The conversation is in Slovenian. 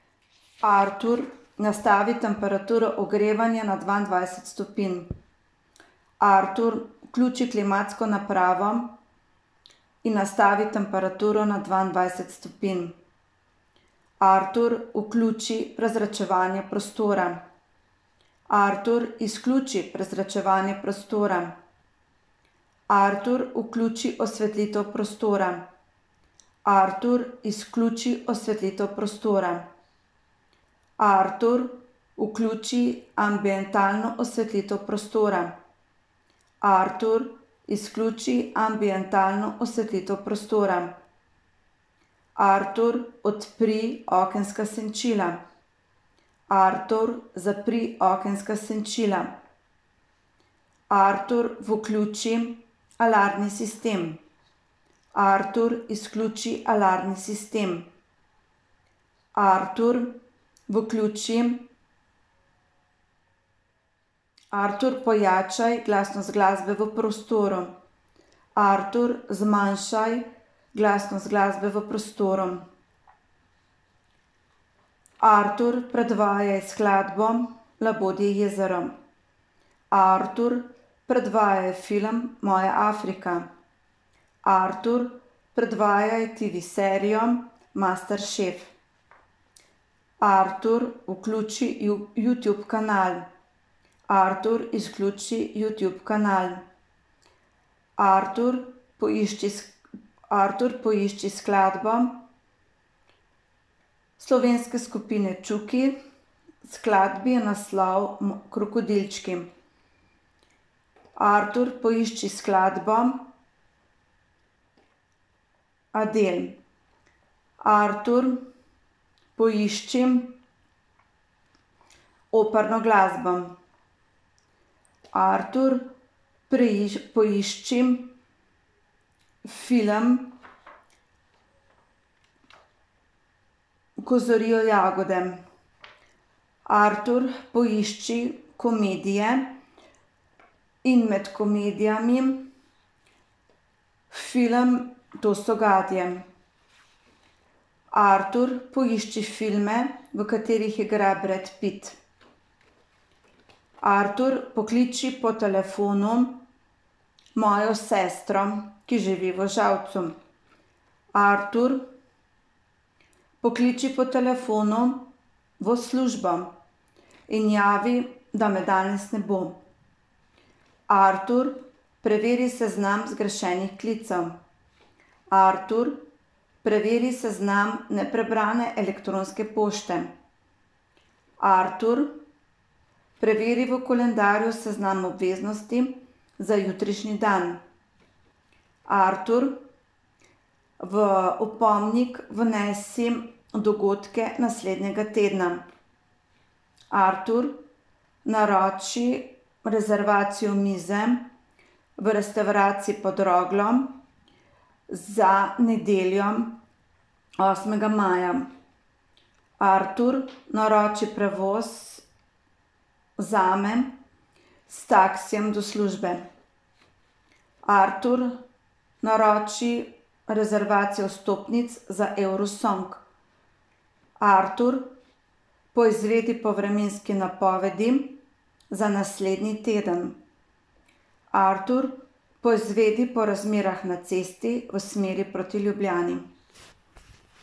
Artur, nastavi temperaturo ogrevanja na dvaindvajset stopinj. Artur, vključi klimatsko napravo in nastavi temperaturo na dvaindvajset stopinj. Artur, vključi prezračevanje prostora. Artur, izključi prezračevanje prostora. Artur, vključi osvetlitev prostora. Artur, izključi osvetlitev prostora. Artur, vključi ambientalno osvetlitev prostora. Artur, izključi ambientalno osvetlitev prostora. Artur, odpri okenska senčila. Artur, zapri okenska senčila. Artur, vključi alarmni sistem. Artur, izključi alarmni sistem. Artur, vključi ... Artur, pojačaj glasnost glasbe v prostoru. Artur, zmanjšaj glasnost glasbe v prostoru. Artur, predvajaj skladbo Labodje jezero. Artur, predvajaj film Moja Afrika. Artur, predvajaj TV-serijo Masterchef. Artur, vključi Youtube kanal. Artur, izključi Youtube kanal. Artur, poišči Artur, poišči skladbo slovenske skupine Čuki, skladbi je naslov Krokodilčki. Artur, poišči skladbo Adele. Artur, poišči operno glasbo. Artur, poišči film Ko zorijo jagode. Artur, poišči komedije in med komedijami film To so gadje. Artur, poišči filme, v katerih igra Brad Pitt. Artur, pokliči po telefonu mojo sestro, ki živi v Žalcu. Artur, pokliči po telefonu v službo in javi, da me danes ne bo. Artur, preveri seznam zgrešenih klicev. Artur, preveri seznam neprebrane elektronske pošte. Artur, preveri v koledarju seznam obveznosti za jutrišnji dan. Artur, v opomnik vnesi dogodke naslednjega tedna. Artur, naroči rezervacijo mize v restavraciji Pod Roglo za nedeljo osmega maja. Artur, naroči prevoz zame s taksijem do službe. Artur, naroči rezervacijo vstopnic za Eurosong. Artur, poizvedi po vremenski napovedi za naslednji teden. Artur, poizvedi po razmerah na cesti v smeri proti Ljubljani.